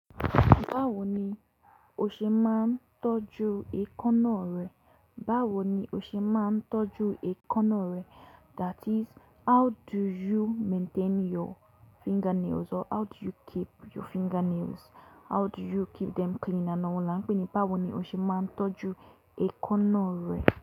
Báwo ni o ṣe máa ń tọ́jú ẹkanà rẹ? Báwo ni o ṣe máa ń tọ́jú ẹkúnà rẹ? That is how do you maintain your fingernails or how do you keep your fingernails? How do you keep them clean and all la n pé ní báwo ni o ṣe máa ń tọ́jú ẹkanà rẹ.